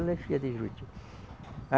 Ela é filha de Juruti a